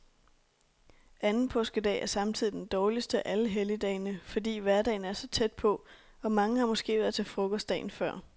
Anden påskedag er samtidig den dårligste af alle helligdagene, fordi hverdagen er så tæt på, og mange har måske været til frokost dagen før.